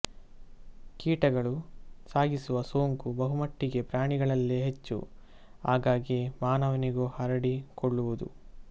ಕೀಟಗಳು ಸಾಗಿಸುವ ಸೋಂಕು ಬಹುಮಟ್ಟಿಗೆ ಪ್ರಾಣಿಗಳಲ್ಲೇ ಹೆಚ್ಚು ಆಗಾಗ್ಗೆ ಮಾನವನಿಗೂ ಹರಡಿಕೊಳ್ಳುವುದು